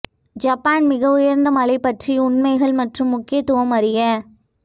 Japan மிக உயர்ந்த மலை பற்றி உண்மைகள் மற்றும் முக்கியத்துவம் அறிய